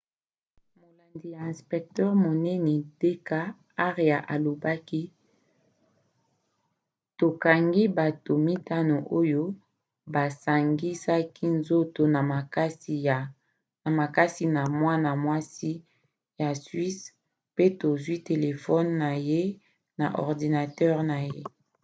molandi ya inspecteur monene d k arya alobaki: tokangi bato mitano oyo basangisaki nzoto na makasi na mwana-mwasi ya swisse pe tozwi telefone na ye na ordinatere na ye